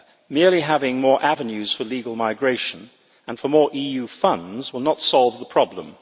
Merely having more avenues for legal migration and for more EU funds will not solve the problem.